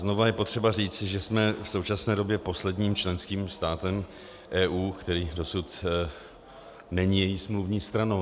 Znovu je potřeba říci, že jsme v současné době posledním členským státem EU, který dosud není její smluvní stranou.